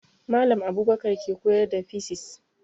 Mallam Abubakar ke koyar da fisis